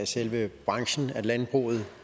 selve branchen landbruget